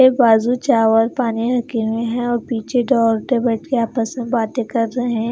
एक बाजू चावल पानी रखें हुए है और पीछे पे बैठकर आपस में बातें कर रहे हैं।